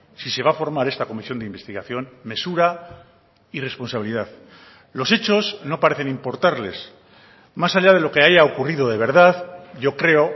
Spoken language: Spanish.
si se va a formar esta comisión de investigación mesura y responsabilidad los hechos no parecen importarles más allá de lo que haya ocurrido de verdad yo creo